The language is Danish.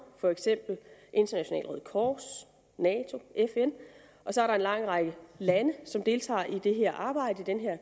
for eksempel internationale røde kors nato fn og så er der lang række lande som deltager i det her arbejde i